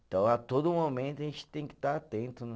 Então a todo momento a gente tem que estar atento, né?